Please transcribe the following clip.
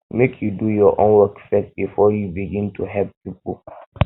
make you do your um own work first before you first before you begin help pipo